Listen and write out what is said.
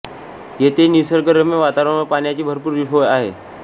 येथे निसर्गरम्य वातावरण व पाण्याची भरपूर सोय आहे